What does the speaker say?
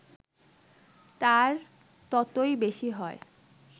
তার ততই বেশি হয়